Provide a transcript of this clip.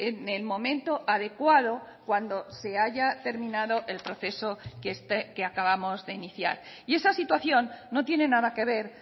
en el momento adecuado cuando se haya terminado el proceso que acabamos de iniciar y esa situación no tiene nada que ver